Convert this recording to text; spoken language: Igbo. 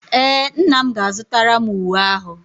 Ee, nna m ga-azụtara m uwe ahu